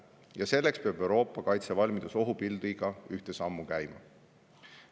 Ja selleks peab Euroopa kaitsevalmidus ohupildiga ühte sammu käima.